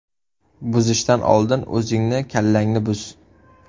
Buzishdan oldin o‘zingni kallangni buz!